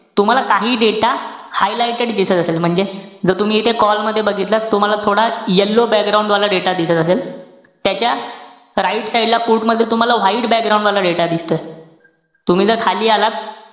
तुम्हाला काहीही data highlighted दिसत असेल. म्हणजे, जर तुम्ही इथे call मध्ये बघितलं. तुम्हाला थोडा yellow वाला data दिसत असेल. त्याच्या right side ला put मध्ये तुम्हाला white वाला data दिसत असेल. तुम्ही जर खाली आलात,